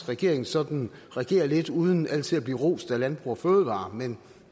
regeringen sådan regerer lidt uden altid at blive rost af landbrug fødevarer men